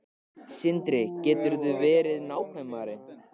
Sindri: Geturðu verið nákvæmari?